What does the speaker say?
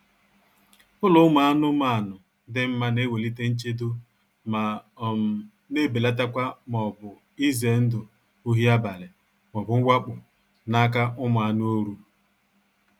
Ụlọ ụmụ anụmanụ dị mma na-ewelite nchedo ma um na-ebelatakwa maọbụ ize ndụ ohi abalị maọbu mwakpo n'aka ụmụ anụ oru